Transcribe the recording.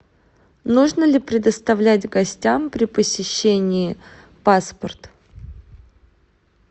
нужно ли предоставлять гостям при посещении паспорт